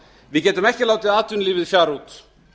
við getum ekki látið atvinnulífið fjara út